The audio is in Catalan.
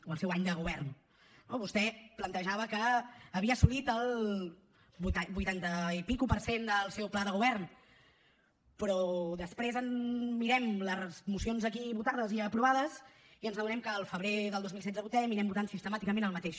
o el seu any de govern no vostè plantejava que havia assolit el vuitanta per cent i escaig del seu pla de govern però després ens mirem les mocions aquí votades i aprovades i ens adonem que al febrer del dos mil setze votem i anem votant sistemàticament el mateix